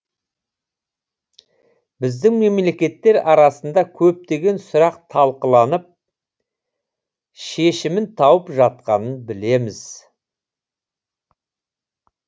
біздің мемлекеттер арасында көптеген сұрақ талқыланып шешімін тауып жатқанын білеміз